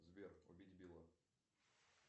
сбер убить билла